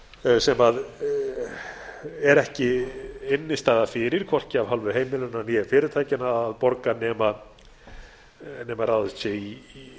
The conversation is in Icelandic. stökkbreytisskuldum sem er ekki innstæða fyrir hvorki af hálfu heimilanna né fyrirtækjanna að borga nema ráðist sé í